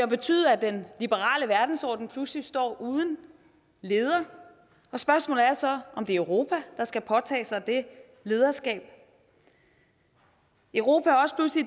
betydet at den liberale verdensorden pludselig står uden leder og spørgsmålet er så om det er europa der skal påtage sig det lederskab europa